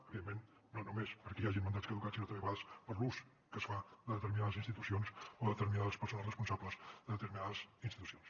evidentment no només perquè hi hagin mandats caducats sinó també a vegades per l’ús que es fa de determinades institucions o determinades persones responsables de determinades institucions